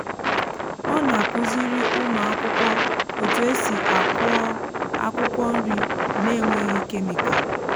ọ na-akụziri ụmụ um akwụkwọ otú e si akụọ akwukwo nri n’enweghị kemịkal